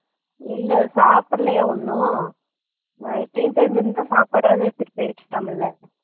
இல்ல சாப்பிடலையா இன்னும் late அகுரமாதி இருந்தா சாப்பாடாவது வெச்சிட்டு போயிருக்கலாம்ல